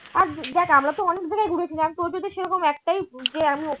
আর দেখ আমরা তো অনেক জায়গায় ঘুরেছি সেরকম একটাই যে আমি ওখানে